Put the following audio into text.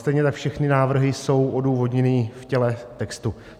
Stejně tak všechny návrhy jsou odůvodněny v těle textu.